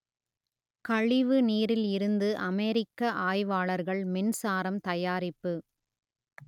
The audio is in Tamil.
கழிவு நீரில் இருந்து அமெரிக்க ஆய்வாளர்கள் மின்சாரம் தயாரிப்பு